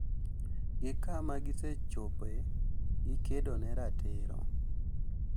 Gi kama gisechope gi kedo ne ratirogo